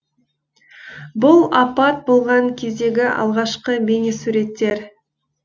бұл апат болған кездегі алғашқы бейнесуреттер